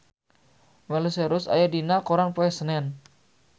Miley Cyrus aya dina koran poe Senen